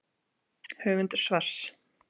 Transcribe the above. Höfundur svars.